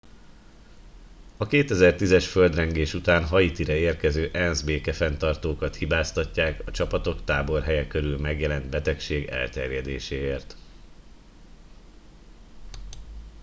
a 2010 es földrengés után haitira érkező ensz békefenntartókat hibáztatják a csapatok táborhelye körül megjelent betegség elterjedéséért